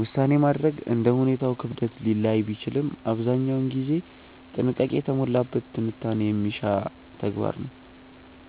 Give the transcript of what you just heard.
ውሳኔ ማድረግ እንደ ሁኔታው ክብደት ሊለያይ ቢችልም አብዛኛውን ጊዜ ጥንቃቄ የተሞላበት ትንታኔ የሚሻ ተግባር ነው።